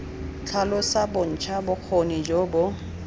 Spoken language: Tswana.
tlhalosa bontsha bokgoni jo bo